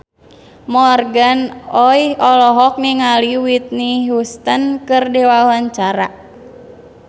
Morgan Oey olohok ningali Whitney Houston keur diwawancara